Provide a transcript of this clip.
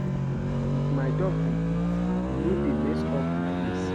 If my dog dey eat e no dey mess up the place